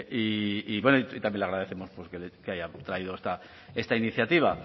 y bueno y también le agradecemos porque haya traído esta iniciativa